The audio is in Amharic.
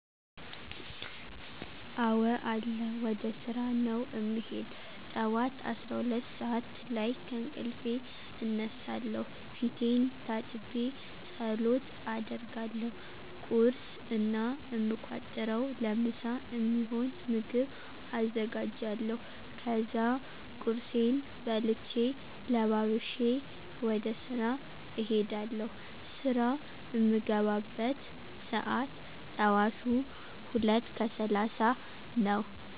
አወ አለ ወደ ስራ ነዉ እምሄድ። ጠዋት 12 ሰዓት ላይ ከእንቅልፌ እነሳለሁ ፊቴን ታጥቤ ፀሎት አደርጋለሁ። ቁርስ እና እምቋጥረዉ ለምሳ እሚሆን ምግብ አዘጋጃለሁ። ከዛ ቁርሴን በልቼ ለባብሼ ወደ ስራ እሄዳለሁ። ስራ እምገባበት ሰዓት ጠዋቱ 2:30 ነዉ።